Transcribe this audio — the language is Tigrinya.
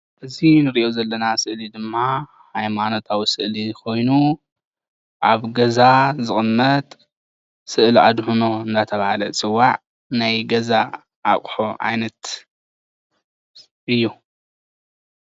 እዚ ንርእዮ ዘለና ስእሊ ድማ ሃይማኖታዊ ስእሊ ኮይኑ አብ ገዛ ዝቅመጥ ስእሊአድህኖ እናተባሃለ ዝፅዋዕ ናይ ገዛ አቁሑ ዓይነት እዩ።